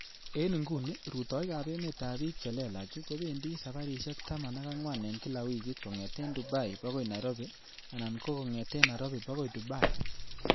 En inguni rutoik ab emetab bik che lelach kobendi saparisiek taman ak angwan en kila wikit kongeten Dubai bokoi Nairobi, anan ko kong'eten Nairobi bokoi Dubai.